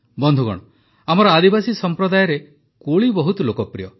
ବନ୍ଧୁଗଣ ଆମର ଆଦିବାସୀ ସମ୍ପ୍ରଦାୟରେ କୋଳି ବହୁତ ଲୋକପ୍ରିୟ